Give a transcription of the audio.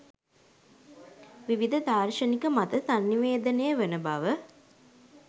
විවිධ දාර්ශනික මත සන්නිවේදනය වන බව